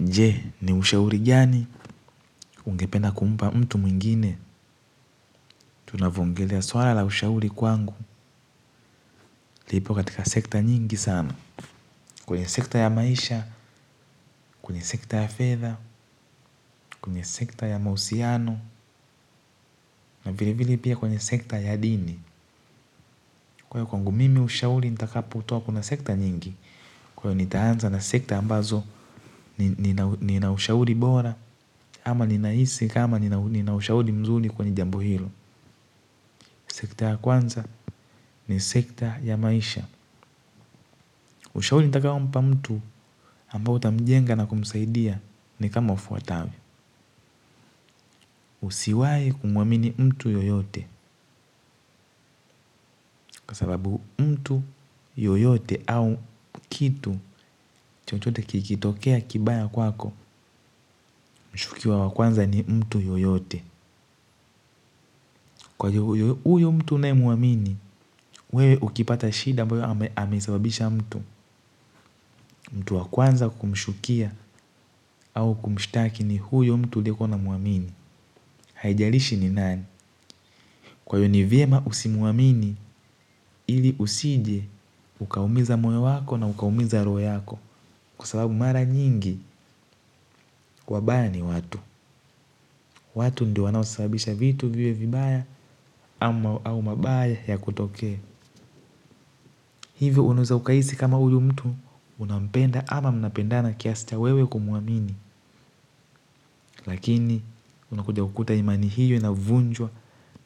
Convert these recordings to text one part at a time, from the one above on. Nje ni ushauri gani ungependa kumpa mtu mwingine tunavyo ongelea swala la ushauri kwangu lipo katika sekta nyingi sana. Kwenye sekta ya maisha, kwenye sekta ya fedha, kwenye sekta ya mahusiano na vile vile pia kwenye sekta ya dini. Kwa hio kwangu mimi ushauri nitakapo toa kuna sekta nyingi kwa hio nitaanza na sekta ambazo nina ushauri bora ama ninahisi kama nina ushauri mzuri kwenye jambo hilo. Sekta ya kwanza ni sekta ya maisha. Ushauri nitakao mpa mtu ambao utamjenga na kumsaidia ni kama ufuatavyo. Usiwai kumuamini mtu yoyote. Kwa sababu mtu yoyote au kitu chochote kikitokea kibaya kwako. Mshukiwa wakwanza ni mtu yoyote. Kwa juu uyu mtu unaemuamini wewe ukipata shida ambayo amesababisha mtu. Mtu wa kwanza kumshukia au kumshitaki ni huyo mtu uliekuwa unamuamini. Haijalishi ni nani. Kwa hio ni vyema usimuamini ili usije ukaumiza moyo wako na ukaumiza roho yako. Kwa sababu mara nyingi wabaya ni watu. Watu ndio wanaosabisha vitu viwe vibaya au mabaya ya kutoke. Hivyo unaeza ukahisi kama huyu mtu unampenda ama mnapendana kiasi cha wewe kumuamini lakini unakuja kukuta imani hiyo inavunjwa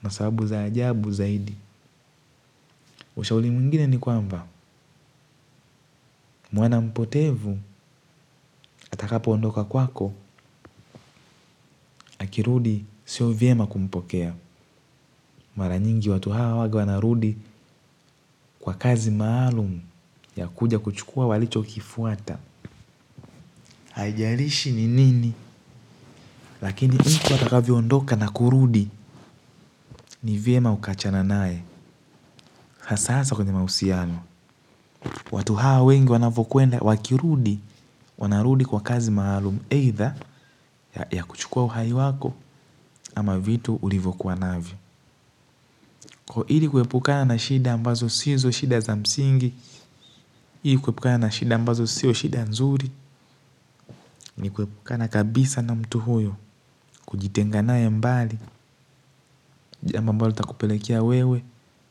na sababu za ajabu zaidi. Ushauri mwingine ni kwamba mwana mpotevu atakapo ondoka kwako. Akirudi sio vyema kumpokea. Mara nyingi watu hawa huwaga wanarudi kwa kazi maalumu ya kuja kuchukua walicho kifuata. Haijarishi ni nini. Lakini mtu atakavyo ondoka na kurudi. Ni vyema uka achana naye. Hasa hasa kwenye mahusiano. Watu hawa wengi wanavyo kwenda wakirudi wanarudi kwa kazi maalum eitha ya kuchukua uhai wako ama vitu ulivyo kuwa navyo kwa hili kuepukana na shida ambazo sizo shida za msingi ili kuepukana na shida ambazo siyo shida nzuri ni kuepukana kabisa na mtu huyo kujitenga naye mbali jambo ambalo litakupelekea wewe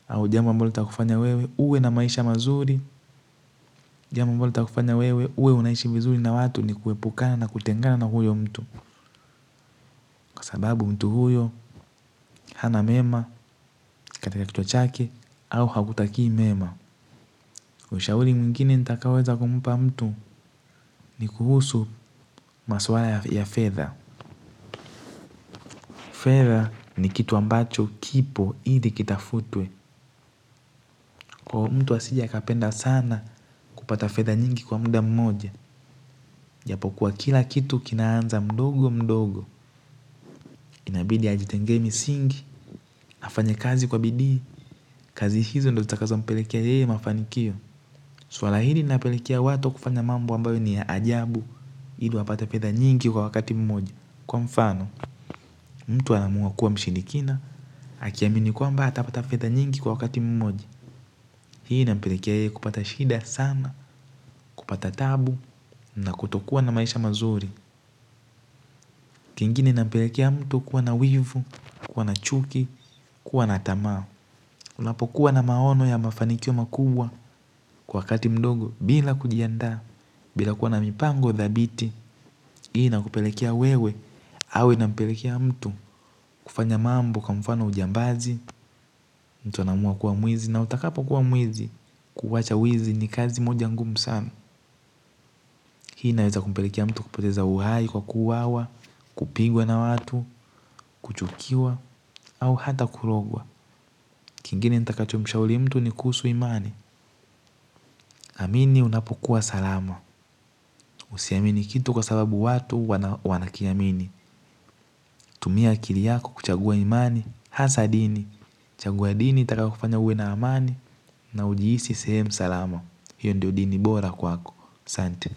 au jambo ambalo takufanya wewe uwe na maisha mazuri jambo ambalo litakufanya wewe uwe unaishi vizuri na watu ni kuepukana na kutengana na huyo mtu kwa sababu mtu huyo. Hana mema, katika kichwa chake. Au hakutakii mema ushauri mwingine nitakao weza kumpa mtu. Ni kuhusu maswala ya fedha. Fedha ni kitu ambacho kipo ili kitafutwe. Kwa mtu asijekapenda sana kupata fedha nyingi kwa muda mmoja japo kuwa kila kitu kinaanza mdogo mdogo. Inabidi ajitengee misingi afanye kazi kwa bidii. Kazi hizo ndo zitakazo mpelekea yeye mafanikio. Swala hili linapelekea watu kufanya mambo ambayo ni ya ajabu ili wapata fedha nyingi kwa wakati mmoja. Kwa mfano, mtu anaamua kuwa mshirikina akiamini kwamba atapata fedha nyingi kwa wakati mmoja. Hii inampelekea yeye kupata shida sana, kupata taabu na kutokuwa na maisha mazuri. Kingine napelekea mtu kuwa na wivu, kuwa na chuki, kuwa na tamaa. Unapokuwa na maono ya mafanikio makubwa kwa wakati mdogo bila kujiandaa. Bila kuwa na mipango dhabiti. Hii inakupelekea wewe au inampelekea mtu kufanya mambo kwa mfano ujambazi. Mtu anaamua kuwa mwizi na utakapo kuwa mwizi kuwacha wizi ni kazi moja ngumu sana. Hii inaweza kumpelekea mtu kupeteza uhai kwa kuwawa, kupigwa na watu, kuchukiwa au hata kurogwa. Kingine nitakacho mshauri mtu ni kuhusu imani. Amini unapokuwa salama. Usiamini kitu kwa sababu watu wanakiamini. Tumia akili yako kuchagua imani, hasaa dini. Chagua dini itakao kufanya uwe na amani na ujihisi sehemu salama. Hiyo ndio dini bora kwako aSanti.